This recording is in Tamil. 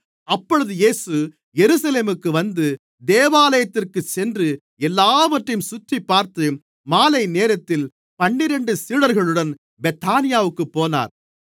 அப்பொழுது இயேசு எருசலேமுக்கு வந்து தேவாலயத்திற்குச் சென்று எல்லாவற்றையும் சுற்றிப்பார்த்து மாலைநேரத்தில் பன்னிரண்டு சீடர்களுடன் பெத்தானியாவிற்குப் போனார்